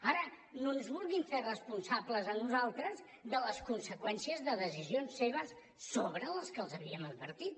ara no ens vulguin fer responsables a nosaltres de les conseqüències de decisions seves sobre les que els havíem advertit